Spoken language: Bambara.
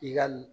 I ka